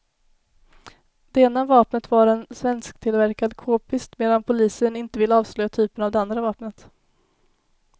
Det ena vapnet var en svensktillverkad kpist, medan polisen inte vill avslöja typen av det andra vapnet.